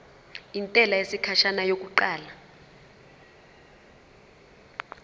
intela yesikhashana yokuqala